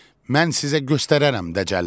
Mən sizə göstərərəm dəcəllər.